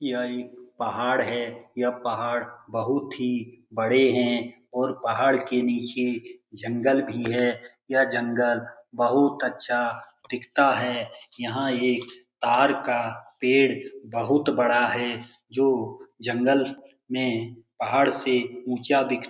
यह एक पहाड़ है यह पहाड़ बहुत ही बड़े है और पहाड़ के नीचे जंगल भी है ये जंगल बहुत अच्छा दिखता है यहाँ ये तार का पेड़ बहुत बड़ा है जो जंगल में पहाड़ से ऊँचा दिख --